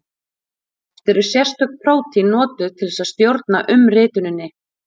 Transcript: Oft eru sérstök prótín notuð til þess að stjórna umrituninni.